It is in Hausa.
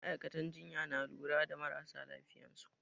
Ma'aikatan jinya na lura da marasa lafiyansu